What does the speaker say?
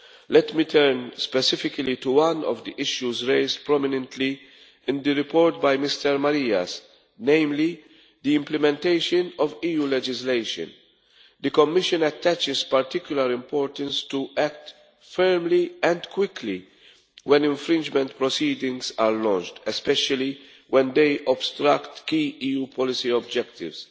Let me turn specifically to one of the issues raised prominently in the report by Mr Marias, namely the implementation of EU legislation. The Commission attaches particular importance to acting firmly and quickly when infringement proceedings are launched, especially when they obstruct key EU policy objectives.